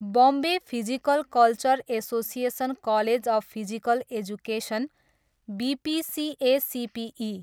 Bombay physical culture association college of physical education, BPCACPE.